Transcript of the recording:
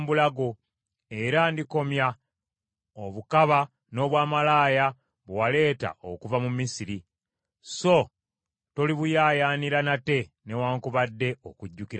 Era ndikomya obukaba n’obwamalaaya bwe waleeta okuva mu Misiri, so tolibuyaayaanira nate newaakubadde okujjukira Misiri.